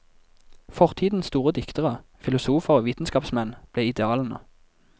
Fortidens store diktere, filosofer og vitenskapsmenn ble idealene.